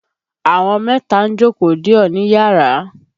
Àwọn mẹ́ta ń jókòó dè ọ́ níyàrá.